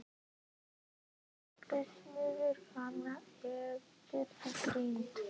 Og timbursmiðurinn fann efni í grind.